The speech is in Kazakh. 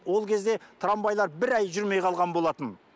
ол кезде трамвайлар бір ай жүрмей қалған болатын